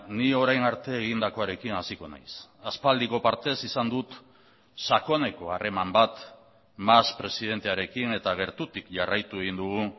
ni orain arte egindakoarekin hasiko naiz aspaldiko partez izan dut sakoneko harreman bat mas presidentearekin eta gertutik jarraitu egin dugu